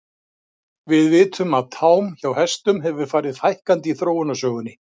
Við vitum að tám hjá hestum hefur farið fækkandi í þróunarsögunni.